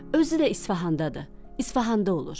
Özü də İsfahandadır, İsfahanda olur.”